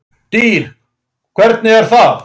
DYR, HVERNIG ER ÞAÐ!